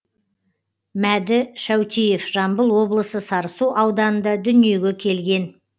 мәді шәутиев жамбыл облысы сарысу ауданында дүниеге келген